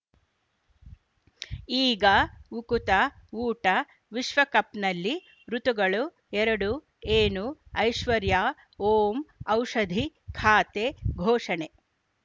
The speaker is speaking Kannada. ಈಗ ಉಕುತ ಊಟ ವಿಶ್ವಕಪ್‌ನಲ್ಲಿ ಋತುಗಳು ಎರಡು ಏನು ಐಶ್ವರ್ಯಾ ಓಂ ಔಷಧಿ ಖಾತೆ ಘೋಷಣೆ